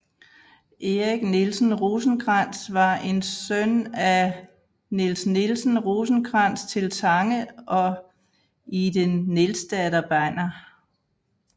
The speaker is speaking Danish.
Erik Nielsen Rosenkrantz var en søn af Niels Nielsen Rosenkrantz til Tange og Ide Nielsdatter Banner